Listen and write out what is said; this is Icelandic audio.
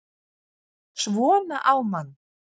SVONA Á MANN!